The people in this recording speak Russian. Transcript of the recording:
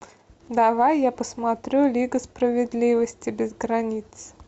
давай я посмотрю лига справедливости без границ